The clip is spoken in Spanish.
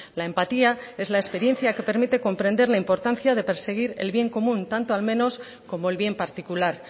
la empatía es la experiencia que permite comprender la importancia de perseguir el bien común tanto al menos como el bien particular